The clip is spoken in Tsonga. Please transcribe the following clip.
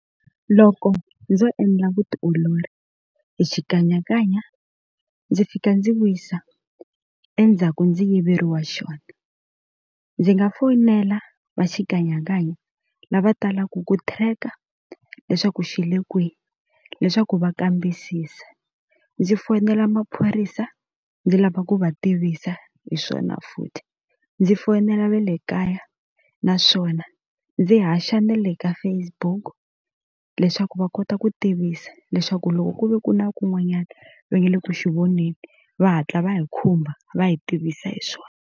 Loko ndzo endla vutiolori hi xikanyakanya ndzi fika ndzi wisa endzhaku ndzi yiveriwa xona ndzi nga foyinela va xikanyakanya lava talaka ku tracker leswaku xi le kwihi leswaku va kambisisa, ndzi foyinela maphorisa ndzi lava ku va tivisa hi swona futhi ndzi foyinela va le kaya naswona ndzi haxa na le ka Facebook leswaku va kota ku tivisa leswaku loko ku ve ku na kun'wanyana va nga le ku xi voneni va hatla va hi khumba va hi tivisa hi swona.